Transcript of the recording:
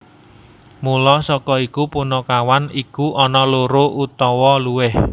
Mula saka iku punakawan iku ana loro utawa luwih